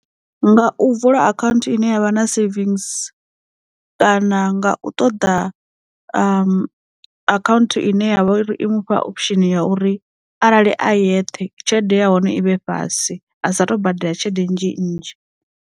Nga u vula akhaunthu ine yavha na savings, kana nga u ṱoḓa akhaunthu ine ya vha uri i mufha option ya uri, arali a yeṱhe tshelede ya hone i vhe fhasi a sa tou badela tshelede nnzhi nnzhi.